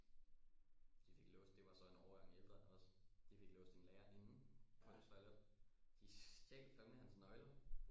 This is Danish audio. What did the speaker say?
De fik låst det var så en årgang ældre os de fik låst en lærer inde på et toilet de stjal fandme hans nøgler